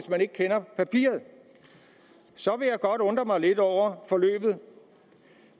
man ikke kender papiret så vil jeg godt undre mig lidt over forløbet